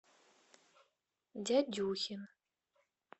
дядюхин